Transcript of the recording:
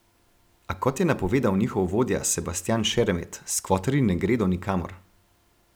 A kot je napovedal njihov vodja Sebastjan Šeremet, skvoterji ne gredo nikamor.